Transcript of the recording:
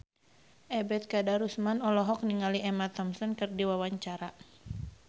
Ebet Kadarusman olohok ningali Emma Thompson keur diwawancara